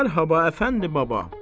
Mərhaba əfəndi baba.